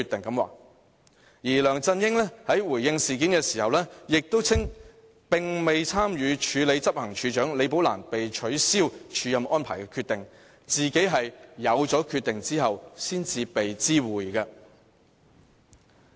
而梁振英在回應事件時，亦稱並無參與署理執行處首長李寶蘭被取消署任安排的決定，自己是"有此決定後才被知會的"。